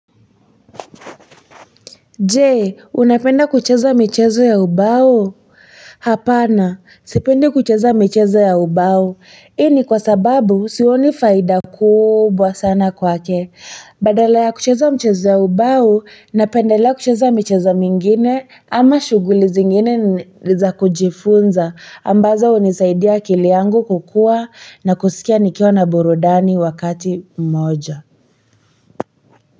Je, unapenda kucheza michezo ya ubao? Hapana, sipendi kucheza michezo ya ubao. Hii ni kwa sababu, sioni faida kubwa sana kwake. Badala ya kucheza mchezo ya ubao, napendelea kucheza michezo mingine ama shughuli zingine za kujifunza. Ambazo hunisaidia akili yangu kukuwa na kusikia nikiwa na burudani wakati mmoja.